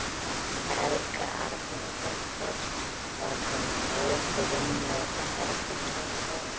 Helga Arnardóttir: Var kominn reykur inn í þetta herbergi?